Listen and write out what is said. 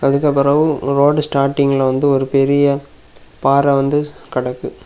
அதுக்கப்புறம் ரோடு ஸ்டார்டிங்ல வந்து ஒரு பெரிய பாறை கெடக்கு.